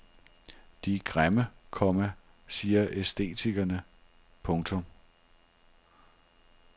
De er grimme, komma siger æstetikerne. punktum